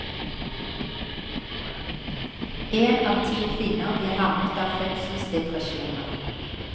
En av ti kvinner blir rammet av fødselsdepresjoner.